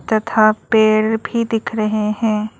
तथा पेड़ भी दिख रहे हैं।